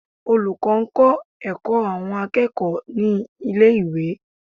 Olùkọ́ ń kọ́ ẹ̀kọ́ àwọn akẹ́kọ̀ọ́ ní ilé ìwé.